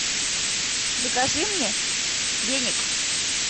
закажи мне веник